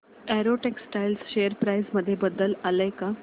Arrow Textiles share price मध्ये बदल आलाय का